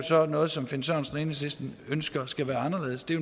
så er noget som finn sørensen og enhedslisten ønsker skal være anderledes det er